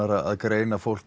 að greina fólk